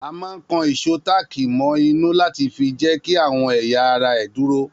A máa ń kan ìsò táàkì mọ inú láti fi jẹ́kí àwọn ẹ̀yà ara ẹ dúró